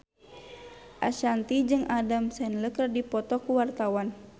Ashanti jeung Adam Sandler keur dipoto ku wartawan